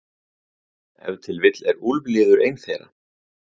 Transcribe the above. Ef til vill er úlfliður ein þeirra.